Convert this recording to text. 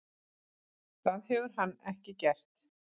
Það hefur hann ekki gert.